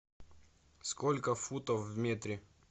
сколько футов в метре